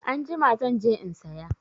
Anjima zan je in saya.